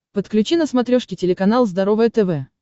подключи на смотрешке телеканал здоровое тв